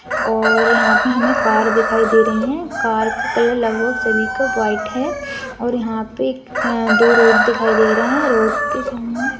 और यहां पर हमें कार दिखाई दे रही है कार का कलर लगभग सभी का वाइट है और यहां पर दो रोड दिखाई दे रहे हैं रोड के सामने--